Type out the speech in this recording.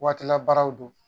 Waati labaaraw don